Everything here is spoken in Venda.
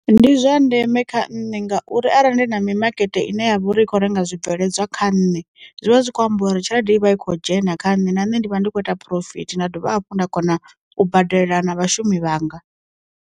Ndi zwa ndeme kha nṋe ngauri arali ndi na mi makete ine ya vha uri i kho renga zwi bveledzwa kha nne, zwivha zwi kho ambiwa uri tshelede i vha i khou dzhena kha nṋe na nṋe ndi vha ndi kho ita phurofiti nda dovha hafhu nda kona u badela na vhashumi vhanga.